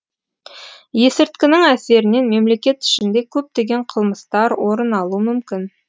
есірткінің әсерінен мемлекет ішінде көптеген қылмыстар орын алуы мүмкін